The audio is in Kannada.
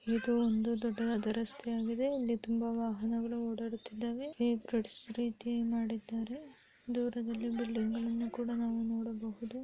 ಇದು ಒಂದು ದೊಡ್ಡದಾದ ರಸ್ತೆ ಆಗಿದೆ ಇಲ್ಲಿ ತುಂಬಾ ವಾಹನಗಳು ಓಡಾಡುತ್ತಿದ್ದಾವೆ. ಈ ಬ್ರಿಡ್ಜ್ ರೀತಿ ಮಾಡಿದ್ದಾರೆ. ದೂರದಲ್ಲಿ ಬಿಲ್ಡಿಂಗ್ಗಳನ್ನ ಕೂಡ ನಾವು ನೋಡಬಹುದು.